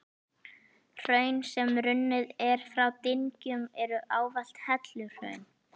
Hraun, sem runnin eru frá dyngjum, eru ávallt helluhraun.